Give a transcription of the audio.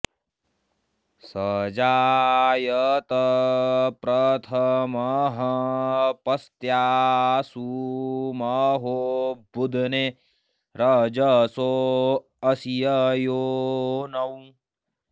स जा॑यत प्रथ॒मः प॒स्त्या॑सु म॒हो बु॒ध्ने रज॑सो अ॒स्य योनौ॑